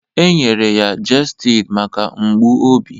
E nyere ya gestid maka mgbu obi